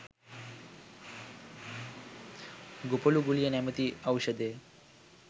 ‘‘ගොපළු ගුලිය“ නමැති ඖෂධය